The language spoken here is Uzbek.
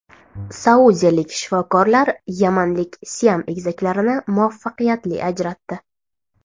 Saudiyalik shifokorlar yamanlik Siam egizaklarini muvaffaqiyatli ajratdi.